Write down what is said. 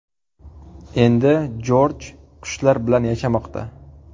Endi Jorj qushlar bilan yashamoqda.